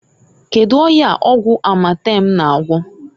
Kedu ọya ọgwụ Amatem na-agwọ?